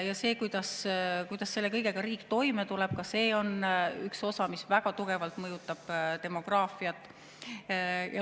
Ja see, kuidas selle kõigega riik toime tuleb, on ka üks osa, mis väga tugevalt mõjutab demograafiat.